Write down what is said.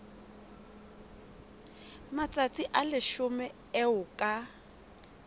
matsatsi a leshome eo ka